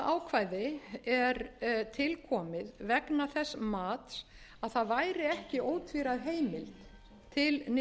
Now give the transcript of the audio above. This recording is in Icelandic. ákvæði er til komið vegna þess mats að það væri ekki ótvíræð heimild til